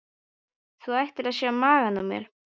Þú ættir að sjá magann á mér.